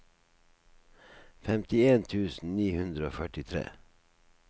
femtien tusen ni hundre og førtitre